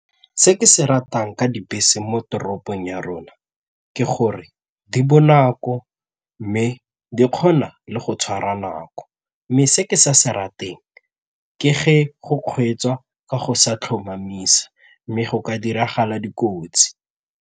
Se ke se ratang ka dibese mo toropong ya rona ke gore di bonako mme di kgona le go tshwara nako mme se ke sa se rateng ke ge go kgweetswa ka go sa tlhomamisa mme go ka diragala dikotsi.